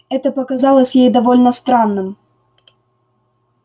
это показалось ей довольно странным